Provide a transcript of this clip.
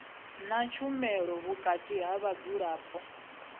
ha tshumelo vhukati ha vhadzulapo